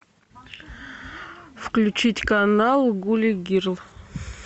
включить канал гули герл